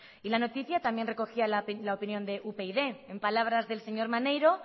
y la noticia también recogía la opinión de upyd en palabras del señor maneiro